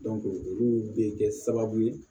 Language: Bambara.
olu bɛ kɛ sababu ye